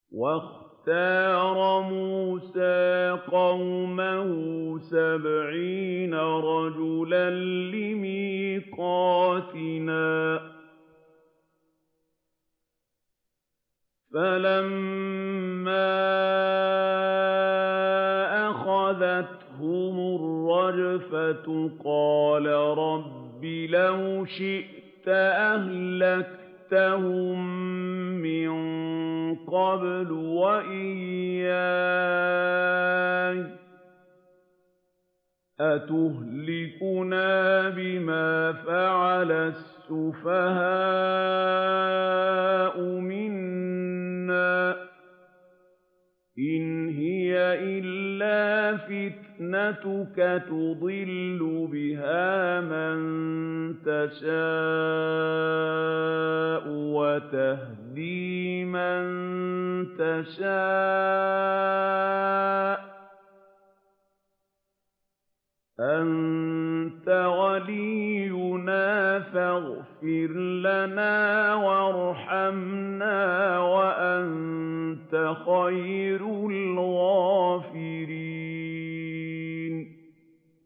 وَاخْتَارَ مُوسَىٰ قَوْمَهُ سَبْعِينَ رَجُلًا لِّمِيقَاتِنَا ۖ فَلَمَّا أَخَذَتْهُمُ الرَّجْفَةُ قَالَ رَبِّ لَوْ شِئْتَ أَهْلَكْتَهُم مِّن قَبْلُ وَإِيَّايَ ۖ أَتُهْلِكُنَا بِمَا فَعَلَ السُّفَهَاءُ مِنَّا ۖ إِنْ هِيَ إِلَّا فِتْنَتُكَ تُضِلُّ بِهَا مَن تَشَاءُ وَتَهْدِي مَن تَشَاءُ ۖ أَنتَ وَلِيُّنَا فَاغْفِرْ لَنَا وَارْحَمْنَا ۖ وَأَنتَ خَيْرُ الْغَافِرِينَ